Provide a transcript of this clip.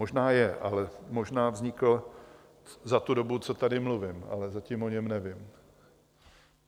Možná je, ale možná vznikl za tu dobu, co tady mluvím, ale zatím o něm nevím.